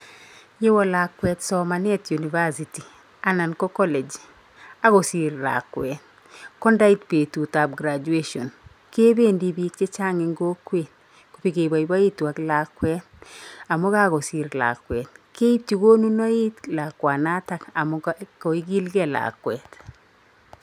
Ye wo lakwet somanet university anan ko college ak kosir lakwet, ko ndait betutab graduation, kebendi piik chechang eng kokwet kobekebaibaitu ak lakwet amu kakosir lakwet, keipchi konunoik lakwanatak amu koigilgei lakwet.